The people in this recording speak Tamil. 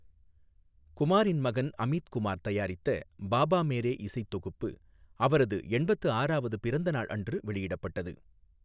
குமாரின் மகன் அமித் குமார் தயாரித்த பாபா மேரே இசைத் தொகுப்பு அவரது எண்பத்து ஆறாவது பிறந்தநாள் அன்று வெளியிடப்பட்டது.